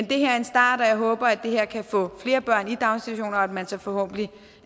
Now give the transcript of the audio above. det her er en start og jeg håber at det her kan få flere børn i daginstitutioner og at man så forhåbentlig